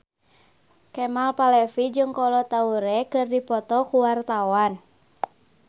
Kemal Palevi jeung Kolo Taure keur dipoto ku wartawan